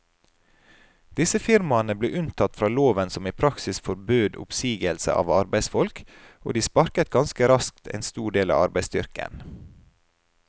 Disse firmaene ble unntatt fra loven som i praksis forbød oppsigelse av arbeidsfolk, og de sparket ganske raskt en stor del av arbeidsstyrken.